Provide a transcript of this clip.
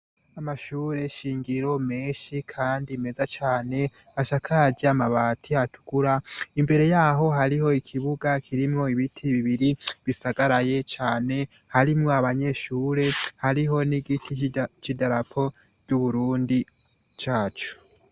Amashure nshingiro menshi kandi meza cane asakaje amabati atukura, imbere yaho hariho ikibuga kirimwo ibiti bibiri bisagaraye cane harimwo abanyeshure, hariho n’igiti c’idarapo ry’Uburundi cacu.